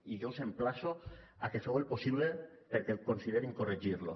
i jo us emplaço a que feu el possible perquè considerin corregir lo